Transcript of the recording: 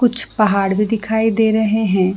कुछ पहाड़ भी दिखाई दे रहे है।